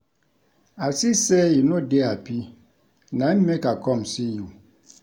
I see sey you no dey hapi na im make I com see you.